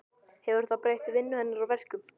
Hefur það breytt vinnu hennar og verkum?